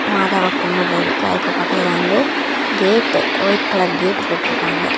மாதவ கும்பறதுக்கு. அதுக்கு பக்கத்துல வந்து கேட்டு வைட் கலர் கேட்டு போட்டிருக்காங்க.